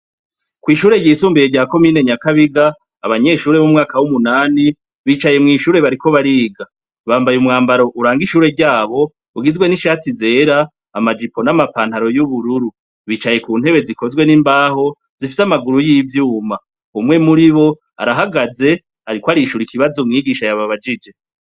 Kw'ishure ryisumbuye rya commune Nyakabiga, abanyeshure bo mu mwaka wu munani bicaye mw'ishure bariko bariga. Bambaye umwambaro uranga ishure ryabo, ugizwe n'ishati zera, ama jipo n'amapantaro y'ubururu . Bicaye ku ntebe zikozwe n'imbaho zifise amaguru y'ivyuma. Umwe muribo arahagaze, ariko arishura ikibazo mwigisha yababajije.